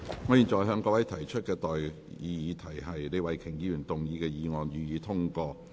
我現在向各位提出的待議議題是：李慧琼議員動議的議案，予以通過。